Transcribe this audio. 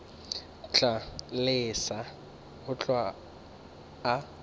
tla lesa go hlwa a